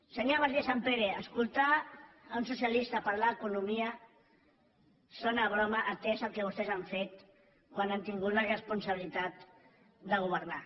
senyora martínez sampere escoltar un socialista parlar d’economia sona a broma atès el que vostès han fet quan han tingut la responsabilitat de governar